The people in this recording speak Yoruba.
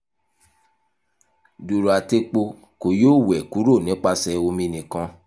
duru ati epo ko yoo wẹ kuro nipasẹ omi nikan